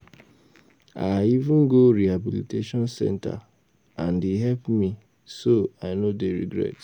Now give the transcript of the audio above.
I even go rehabilitation center and e help me so I no dey regret